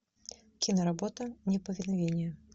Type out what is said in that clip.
киноработа неповиновение